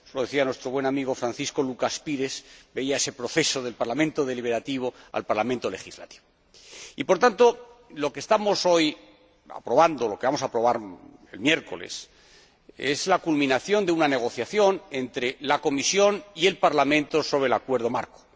Eso lo decía nuestro buen amigo, Francisco Lucas Pires, que veía ese proceso del parlamento deliberativo al parlamento legislativo. Por tanto, lo que vamos a aprobar el miércoles es la culminación de una negociación entre la Comisión y el Parlamento sobre el Acuerdo marco.